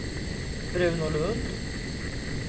Bruno Lund